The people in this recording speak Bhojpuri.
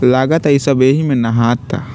लागता इ सब ऐही में नहाता।